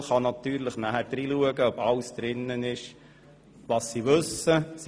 Die FiKo kann natürlich nachschauen, ob alles drin steht, was sie wissen will.